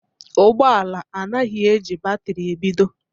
Ụgbọ ala anaghị eji batrị ebido